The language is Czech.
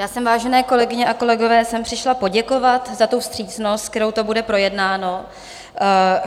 Já jsem, vážené kolegyně a kolegové, sem přišla poděkovat za tu vstřícnost, se kterou to bude projednáno.